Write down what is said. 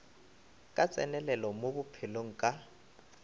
ka tsenelelo mo bophelong ka